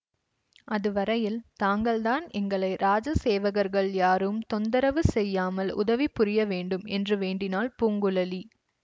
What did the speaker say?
அது வரையில் தாங்கள்தான் எங்களை இராஜ சேவகர்கள் யாரும் தொந்தரவு செய்யாமல் உதவி புரிய வேண்டும் என்று வேண்டினாள் பூங்குழலி